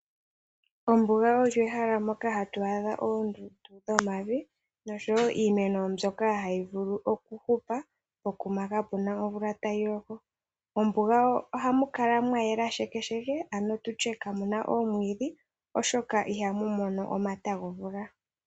Ombuga olyo ehala mono hatu adha oondundu dhomavi nosho woo iimeno mbyono hayi vulu okuhupa pokuma kapena omvula tayi loko. Mombuga ohamu kala mwa yela shekesheke ano tutye kamuna omwiidhi oshoka ihamu mono omata gomvula.